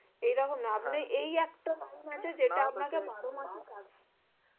এরকম ই আয়নার এই একটা